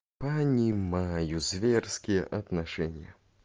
понимаю зверские отношения